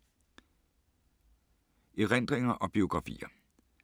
Erindringer og biografier